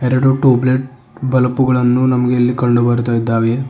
ಎರಡು tube light bulb ಗಳನ್ನು ನಮಗೆ ಇಲ್ಲಿ ಕಂಡು ಬರ್ತಾ ಇದ್ದಾವೆ.